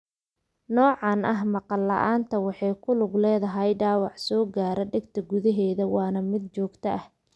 Noocan ah maqal la'aanta waxay ku lug leedahay dhaawac soo gaara dhegta gudaha waana mid joogto ah.